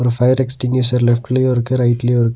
இங்க fire extinguisher லெஃப்ட்லியு இருக்கு ரைட்லியு இருக்கு.